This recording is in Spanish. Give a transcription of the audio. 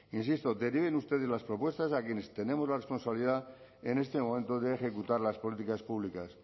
insisto deriven ustedes las propuestas a quienes tenemos la responsabilidad en este momento de ejecutar las políticas públicas